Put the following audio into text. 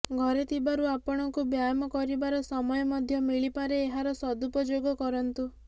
ଘରେ ଥିବାରୁ ଆପଣଙ୍କୁ ବ୍ୟାୟମ କରିବାର ସମୟ ମଧ୍ୟ ମିଳିପାରେ ଏହାର ସଦୁପଯୋଗ କରନ୍ତୁ